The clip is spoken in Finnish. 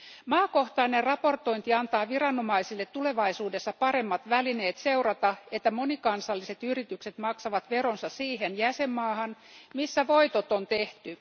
Maakohtainen raportointi antaa viranomaisille tulevaisuudessa paremmat välineet seurata, että monikansalliset yritykset maksavat veronsa siihen jäsenmaahan, missä voitot on tehty.